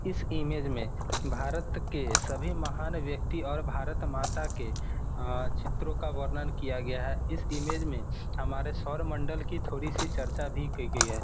इस इमेज में भारत के सभी महान व्यक्ति और भारत माता के अ चित्रों का वर्णन किया गया है। इस इमेज में हमारी स्वरमंडल की थोड़ी चर्चा की गई है।